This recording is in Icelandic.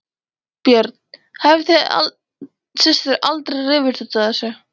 Björn: Hafið þið systur aldrei rifist út af þessu?